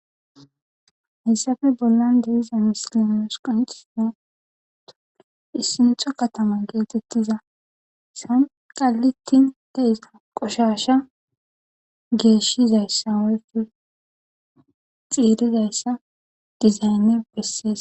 hassafe bollan de'iza misilausqonit nato issinxo katama geetettiza san qallittin deisa qoshasha geeshshizayssa woykko xiirizayssa dizaynne bessees